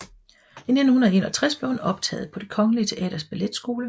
I 1951 blev hun optaget på Det Kongelige Teaters balletskole